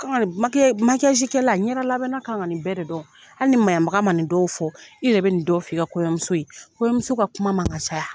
kɛla ɲɛda labɛnna kan ka nin bɛɛ de dɔn hali ni maɲabaga man nin dɔw fɔ i yɛrɛ bɛ nin dɔw fɔ i ka kɔɲɔmuso ye kɔɲɔmuso ka kuma man kan ka caya.